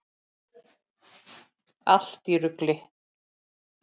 Allt í rugli!